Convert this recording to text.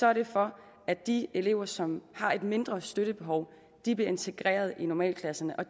er det for at de elever som har et mindre støttebehov bliver integreret i normalklasserne og